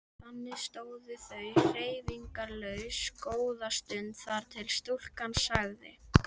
Þannig stóðu þau hreyfingarlaus góða stund þar til stúlkan sagði